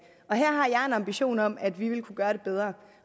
her har jeg en ambition om at vi vil kunne gøre det bedre